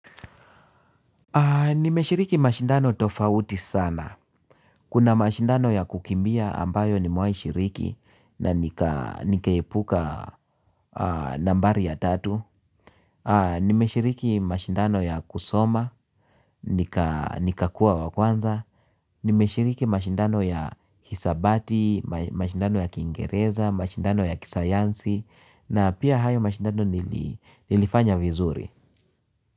Nimeshiriki mashindano tofauti sana. Kuna mashindano ya kukimbia ambayo nimewai shiriki na nikaepuka nambari ya tatu. Nimeshiriki mashindano ya kusoma, nikakuwa wa kwanza. Nimeshiriki mashindano ya hisabati, mashindano ya kiingereza, mashindano ya kisayansi na pia hayo mashindano nilifanya vizuri.